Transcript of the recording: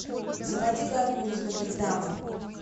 заводи горбун из нотр дама